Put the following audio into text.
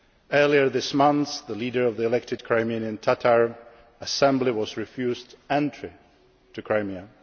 Earlier this month, the leader of the elected Crimean Tatar assembly was refused entry to Crimea.